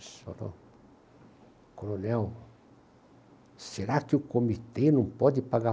Ele falou, Coronel, será que o comitê não pode pagar...